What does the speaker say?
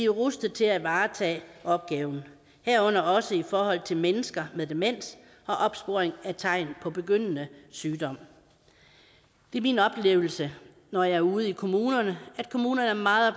rustede til at varetage opgaven herunder også i forhold til mennesker med demens og opsporing af tegn på begyndende sygdom det er min oplevelse når jeg er ude i kommunerne at kommunerne er meget